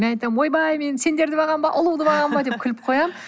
мен айтамын ойбай мен сендерді бағамын ба ұлуды бағамын ба деп күліп қоямын